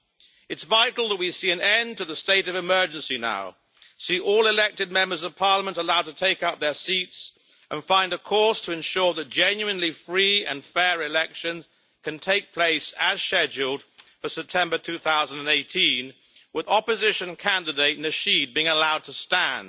It is vital that we see an end to the state of emergency now, see all elected Members of Parliament allowed to take up their seats, and find a course to ensure that genuinely free and fair elections can take place as scheduled in September 2018, with opposition candidate Nasheed being allowed to stand.